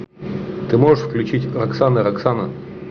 ты можешь включить оксана роксана